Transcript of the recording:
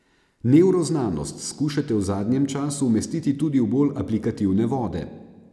Nevroznanost skušate v zadnjem času umestiti tudi v bolj aplikativne vode.